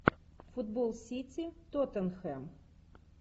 футбол сити тоттенхэм